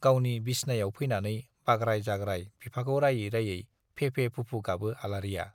गावनि बिसनायाव फैनानै बाग्राय-जाग्राय बिफाखौ रायै रायै फेफे-फुफु गाबो आलारिया।